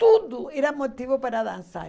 Tudo era motivo para dançar.